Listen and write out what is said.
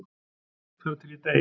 Þar til ég dey